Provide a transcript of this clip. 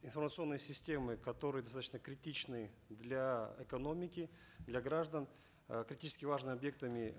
информационные системы которые достаточно критичны для экономики для граждан э критически важными объектами